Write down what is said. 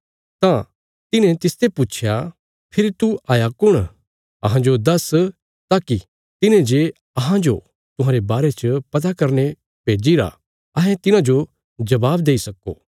तां तिन्हे तिसते पुच्छया फेरी तू हाया कुण अहांजो दस्स ताकि तिन्हें जे अहांजो तुहांरे बारे च पता करने भेजीरा अहें तिन्हाजो जबाब देई सक्को